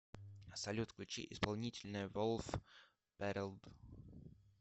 салют включи исполнителя волф пэрэд